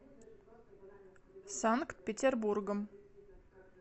санкт петербургом